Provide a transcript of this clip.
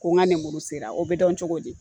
Ko ŋa nemuru sera o be dɔn cogo di?